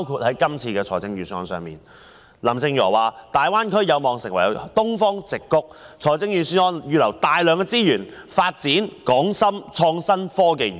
在這份預算案中，由於林鄭月娥指大灣區有望成為東方矽谷，於是預算案預留了大量資源發展港深創新及科技園。